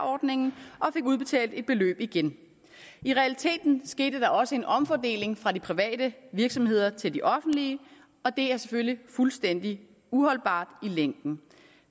ordningen og fik udbetalt et beløb igen i realiteten skete der også en omfordeling fra de private virksomheder til de offentlige og det er selvfølgelig fuldstændig uholdbart i længden